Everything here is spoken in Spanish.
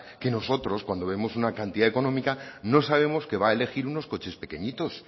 que nosotros cuando vemos una cantidad económica no sabemos que va a elegir unos coches pequeñitos